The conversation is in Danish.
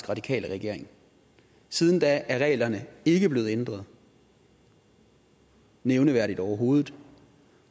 radikale regering siden da er reglerne ikke blevet ændret nævneværdigt overhovedet